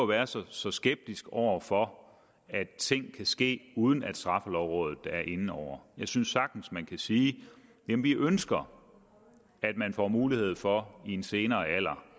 være så så skeptisk over for at ting kan ske uden at straffelovrådet er inde over jeg synes sagtens man kan sige jamen vi ønsker at man får mulighed for i en senere alder